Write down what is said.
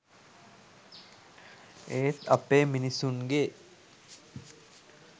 ඒත් අපේ මිනිස්සුන්ගේ